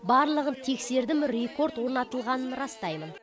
барлығын тексердім рекорд орнатылғанын растаймын